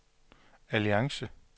alliance